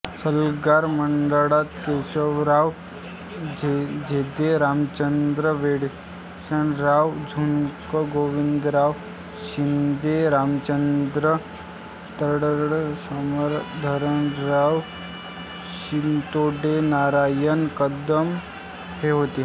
सल्लागार मंडळात केशवराव जेधेरामचंद्र वंडेकरशंकरराव झुंजाररावगोविंदराव शिंदेरामचंद्र तडसरकरमाधवराव शितोडेनारायण कदम हे होते